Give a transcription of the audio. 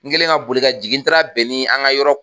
N kɛlen ka boli ka jingi n taara bɛn nin an ka yɔrɔ